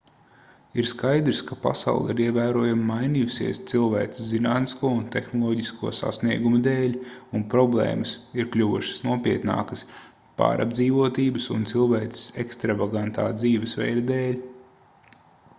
ir skaidrs ka pasaule ir ievērojami mainījusies cilvēces zinātnisko un tehnoloģisko sasniegumu dēļ un problēmas ir kļuvušas nopietnākas pārapdzīvotības un cilvēces ekstravagantā dzīvesveida dēļ